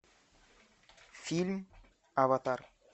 фильм аватар